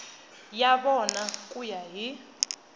ya vona ku ya hi